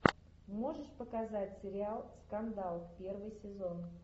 можешь показать сериал скандал первый сезон